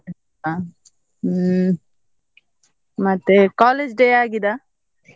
ಅಹ್ ಹ್ಮ್ ಮತ್ತೆ college day ಆಗಿದ?